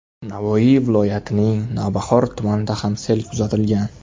Navoiy viloyatining Navbahor tumanida ham sel kuzatilgan.